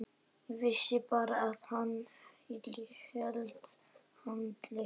Vissi bara að hann hét Halli.